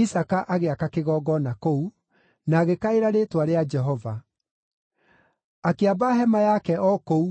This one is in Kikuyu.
Isaaka agĩaka kĩgongona kũu, na agĩkaĩra rĩĩtwa rĩa Jehova. Akĩamba hema yake o kũu,